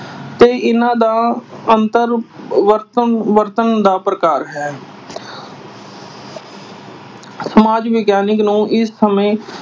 ਤੇ ਇਨ੍ਹਾਂ ਦਾ ਅੰਤਰ ਵਰਤਣ ਅਹ ਵਰਤਣ ਦਾ ਪ੍ਰਕਾਰ ਹੈ। ਸਮਾਜਿਕ ਵਿਗਿਆਨ ਨੂੰ ਇਸ ਸਮੇਂ